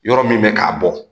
Yɔrɔ min bɛ k'a bɔ